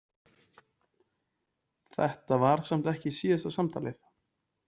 Þetta var samt ekki síðasta samtalið.